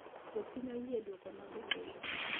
jopiny oyie gi duoko mag ombulu